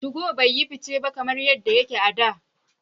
2go bai yi fice ba kamar yadda yake a da.